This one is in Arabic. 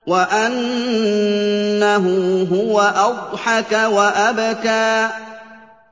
وَأَنَّهُ هُوَ أَضْحَكَ وَأَبْكَىٰ